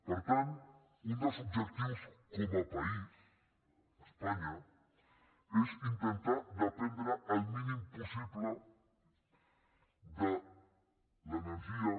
per tant un dels objectius com a país espanya és intentar dependre el mínim possible de l’energia